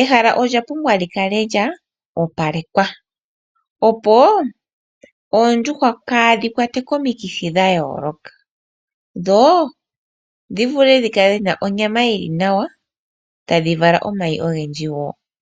ehala olya pumbwa li kale lya opalekwa opo oondjuhwa kaadhi kwatwe komikithi dha yooloka, dho dhi vule dhi kale dhina onyama yi li nawa, ta dhi vala omayi ogendji woo.